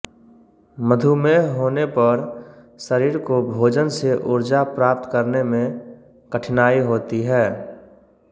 मधुमेह होने पर शरीर को भोजन से ऊर्जा प्राप्त करने में कठिनाई होती है